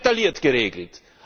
Das wird detailliert geregelt!